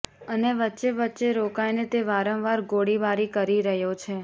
અને વચ્ચે વચ્ચે રોકાઇને તે વારંવાર ગોળીબારી કરી રહ્યો છે